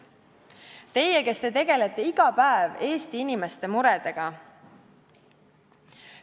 Teie, kes te tegelete iga päev Eesti inimeste muredega.